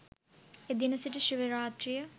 එදින සිට ශිව රාත්‍රිය